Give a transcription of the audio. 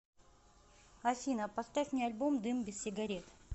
афина поставь мне альбом дым без сигарет